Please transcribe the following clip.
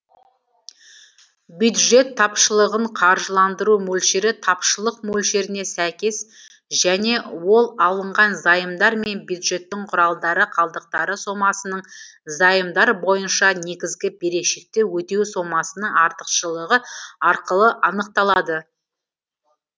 бюджет тапшылығын қаржыландыру мөлшері тапшылық мөлшеріне сәйкес және ол алынған займдар мен бюджеттік құралдар қалдықтары сомасының займдар бойынша негізгі берешекті өтеу сомасының артықшьшығы арқылы анықталады